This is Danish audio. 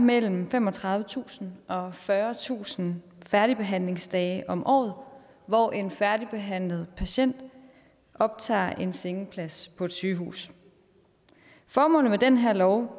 mellem femogtredivetusind og fyrretusind færdigbehandlingsdage om året hvor en færdigbehandlet patient optager en sengeplads på et sygehus formålet med den her lov